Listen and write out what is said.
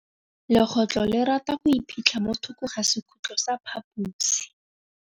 Legôtlô le rata go iphitlha mo thokô ga sekhutlo sa phaposi.